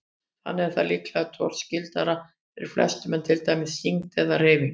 Þannig er það líklega torskildara fyrir flestum en til dæmis þyngd eða hreyfing.